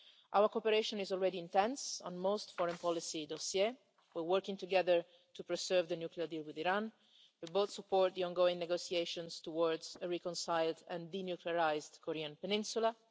Our cooperation is already intense on most foreign policy matters we're working together to preserve the nuclear deal with Iran we both support the ongoing negotiations towards a reconciled and denuclearised Korean peninsula